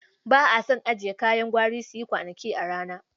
Ba a son ajiye kayan gwari su yi kwanaki a rana.